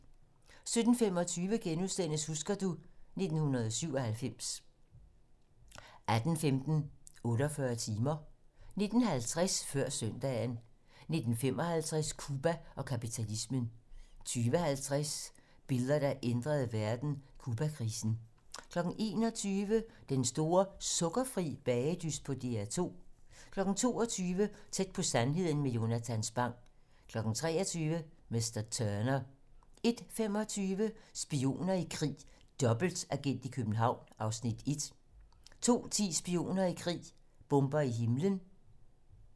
17:25: Husker du ... 1997 * 18:15: 48 timer 19:50: Før søndagen 19:55: Cuba og kapitalismen 20:50: Billeder, der ændrede verden: Cubakrisen 21:00: Den store sukkerfri bagedyst på DR2 22:00: Tæt på sandheden med Jonatan Spang 23:00: Mr. Turner 01:25: Spioner i krig: Dobbeltagent i København (Afs. 1) 02:10: Spioner i krig: Bomber i himlen